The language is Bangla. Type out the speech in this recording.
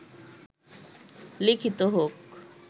লিখিত হোক